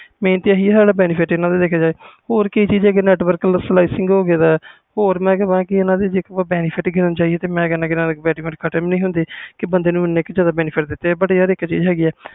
main ਤੇ ਆਹੀ benefit ਦੇਖਿਆ ਜੇਏ network selection ਹੋਰ ਇਹਨਾਂ ਦੇ benefit ਖਤਮ ਨਹੀਂ ਹੁੰਦੇ